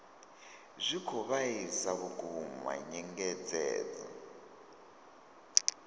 zwi khou vhaisa vhukuma nyengedzedzo